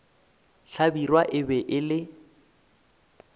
hlabirwa e be e le